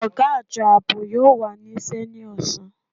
Ọ̀gá Àjọ Ààbò yóò wà níṣẹ́ ní ọ̀sán